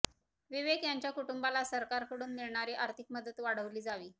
विवेक यांच्या कुटुंबाला सरकारकडून मिळणारी आर्थिक मदत वाढविली जावी